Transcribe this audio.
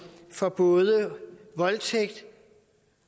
for både voldtægt